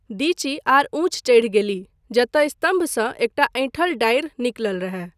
दिची आर ऊँच चढ़ि गेलीह, जतय स्तम्भसँ एकटा ऐँठल डाढ़ि निकलल रहय।